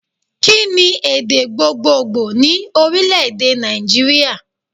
Kí ni èdè gbogbogbò ní Orílèdè Nàìjíríà